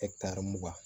mugan